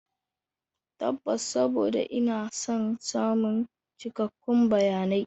Tabbas, saboda ina son samun cikakkun bayanai.